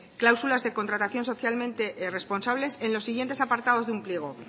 cláusulas de contratación socialmente responsables en los siguientes apartados de un pliego